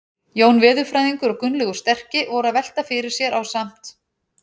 Jón veðurfræðingur og Gunnlaugur sterki voru að velta fyrir sér ásamt